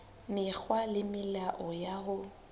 mekgwa le melao ya ho